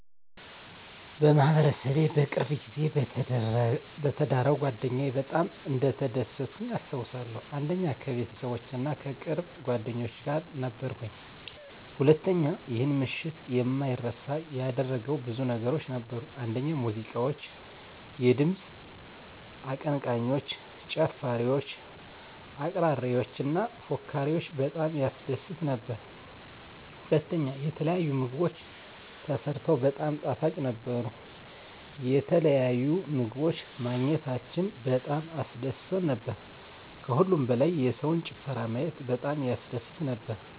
1. በማህበረሰቤ በቅርብ ጊዜ በተዳረው ጓደኛየ በጣም እንደተደሰትኩኝ አስታውሳለሁ። 1. ከቤተሰቦቼ እና ከቅርብ ጓደኞቼ ጋር ነበርኩኝ። 1. ይህን ምሽት የማይረሳ ያደረገው ብዙ ነገሮች ነበሩ፤ አንደኛ ሙዚቃዎች፣ የድምፅ አቀንቃኞች፣ ጨፋሪወች፣ አቅራሪዎች እና ፎካሪወች በጣም ያስደስት ነበር። *ሁለተኛ፣ የተለያዩ ምግቦች ተሰርተው በጣም ጣፋጭ ነበሩ፣ የተለያዩ ምግቦች ማግኘታችን በጣም አስደስቶን ነበር። ከሁሉም በላይ የሰውን ጭፈራ ማየት በጣም ያስደስት ነበር።